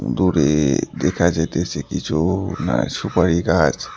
দূরে দেখা যাইতেছে কিছু না সুপারি গাছ।